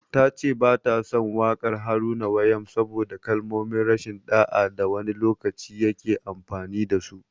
Ta ce ba ta son waƙar Haruna Wayam saboda kalmomin rashin ɗa'a da wani lokaci ya ke amfani da su.